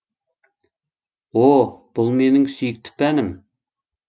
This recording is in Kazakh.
о бұл менің сүйкті пәнім